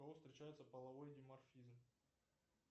у кого встречается половой диморфизм